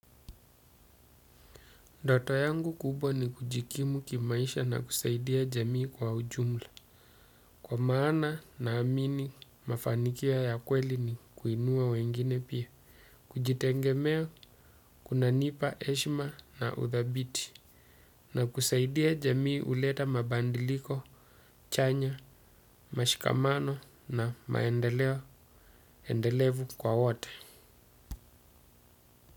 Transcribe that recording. Ndoto yangu kubwa ni kujikimu kimaisha na kusaidia jamii kwa ujumla. Kwa maana naamini mafanikio ya kweli ni kuinua wengine pia, kujitegemea kunanipa heshima na uthabiti. Na kusaidia jamii huleta mabadiliko chanya, mashikamano na maendeleo endelevu kwa wote.